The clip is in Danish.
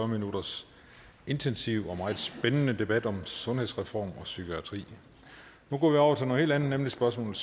minutters intensiv og meget spændende debat om sundhedsreform og psykiatri nu går vi over til noget helt andet nemlig spørgsmål